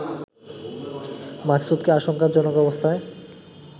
মাকসুদকে আশঙ্কাজনক অবস্থায়